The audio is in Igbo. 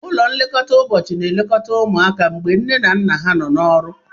Ụlọ nlekọta ụbọchị na-elekọta ụmụaka mgbe nne na nna ha nọ n'ọrụ.